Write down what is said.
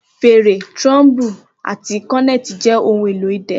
Fèrè, trombone, àti cornet jẹ́ ohun èlò idẹ.